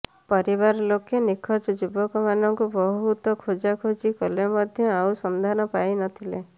ପରିବାର ଲୋକେ ନିଖୋଜ ଯୁବକ ମାନଙ୍କୁ ବହୁତ ଖୋଜାଖୋଜି କଲେ ମଧ୍ୟ ଆଉ ସନ୍ଧାନ ପାଇ ନଥିଲେ